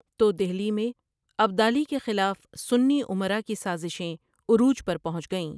تو دہلی میں ابدالی کے خلاف سنی امرا کی سازشیں عروج پر پہنچ گئیں ۔